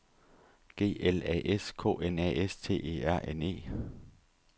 G L A S K N A S T E R N E